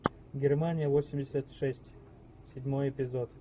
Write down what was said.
германия восемьдесят шесть седьмой эпизод